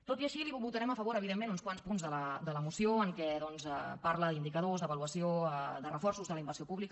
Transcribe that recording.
tot i així li votarem a favor evidentment uns quants punts de la moció en què doncs parla d’indicadors d’avaluació de reforços de la inversió pública